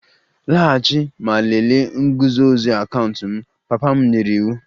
Laghachi ma lelee nguzozi akaụntụ m! Papa m nyere iwu